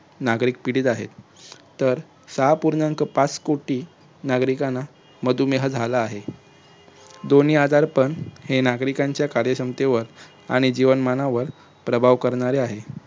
नागरिक पीडित आहेत. तर सहा पूर्णांक पाच कोटी नागरिकांना मधुमेह झाला आहे. दोन्ही आजारपण हे नागरिकांच्या कार्यक्षमतेवर आणि जीवनमानावर प्रभाव करणारे आहेत.